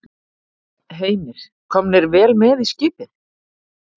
Heimir: Komnir vel með í skipið?